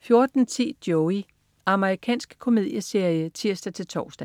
14.10 Joey. Amerikansk komedieserie (tirs-tors)